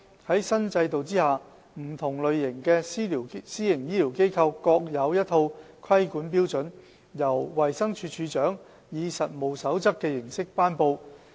在新制度下，不同類型的私營醫療機構各有一套規管標準，由衞生署署長以實務守則的形式頒布。